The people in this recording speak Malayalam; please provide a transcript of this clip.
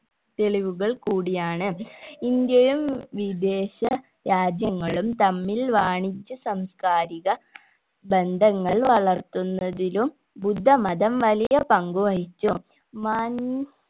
തെളിവുകൾ കൂടിയാണ് ഇന്ത്യയും വിദേശ രാജ്യങ്ങളും തമ്മിൽ വാണിജ്യ സാംസ്‌കാരിക ബന്ധങ്ങൾ വളർത്തുന്നതിലും ബുദ്ധമതം വലിയ പങ്ക് വഹിച്ചു